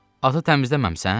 Atı təmizləməmisən?